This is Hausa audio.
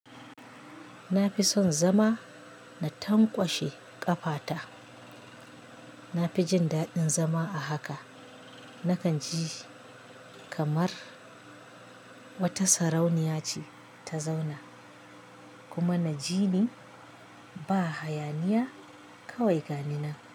Na fi son zama na tankwashe ƙafata. Na fi jin daɗin zama a haka. Nakan ji kamar wata sarauniya ce ta zauna, kuma na ji ni ba hayaniya, kawai ga ni na.